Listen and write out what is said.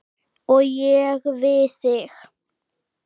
Og ég við þig.